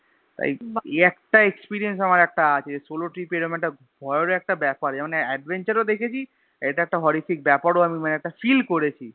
এই একটা Experience আমার একটা আছে Solo trip এরম একটা ভয়ের ও একটা ব্যাপার এমন Adventure ও দেখেছি এটা একটা Horrific ব্যাপার ও মানে একটা Feel করেছি